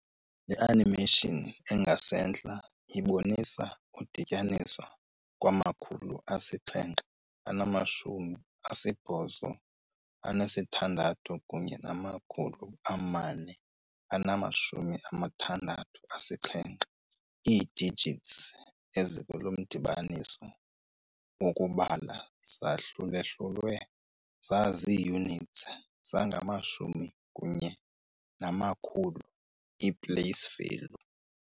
Le animation engasentla ibonisa udityaniswa kwamakhulu asixhenxe anamashumi asibhozo anesithandathu kunye namakhulu amane anamashumi amathandathu anesixhenxe, ii-digits ezikulomdibaniso wokubala zahlulwahlulwe zazii-units, zangamashumi kunye namakhulu, i-place value.